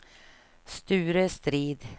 Sture Strid